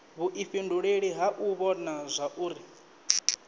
vhuifhinduleli ha u vhona zwauri